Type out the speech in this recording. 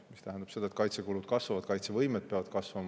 See tähendab seda, et kaitsekulud kasvavad, kaitsevõime peab kasvama.